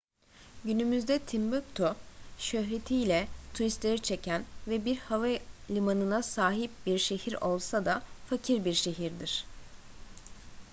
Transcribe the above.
günümüzde timbuktu şöhretiyle turistleri çeken ve bir havalimanına sahip bir şehir olsa da fakir bir şehirdir